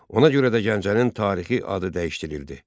Ona görə də Gəncənin tarixi adı dəyişdirildi.